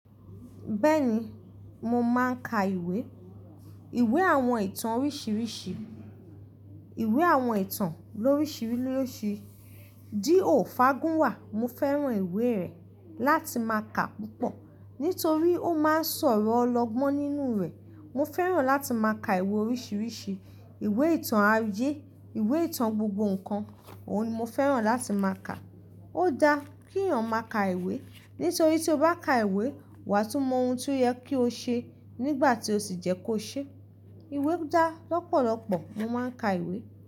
Bẹ́ẹ̀ni, mo máa ń ka ìwé. Ìwé àwọn ìtàn oríṣiríṣi. Ìwé àwọn ìtàn lóríṣi loríṣi. D. O. Fágúnwà, mo fẹ́ràn ìwé ẹ̀ láti má ka púpọ̀. Nítorí ó máá ń sọ̀rọ̀ ọlọ́gbọ́n nínú rẹ̀. Mo fẹ́ràn láti má ka ìwé oríṣiríṣi. Ìwé ìtàn ayé, ìwé ìtàn gbogbo nǹkan, òun ni mo fẹ́ràn láti má ka. Ó dá kí èèyàn má ka ìwé, nítorí tí o bá ka ìwé, wà tún mọ ohun tí ó yẹ ki o ṣe nígbà tí ó sì jẹ́ kó ṣe. Ìwé dá lọ́pọ̀lọ́pọ̀. Mo máa ń ka ìwé.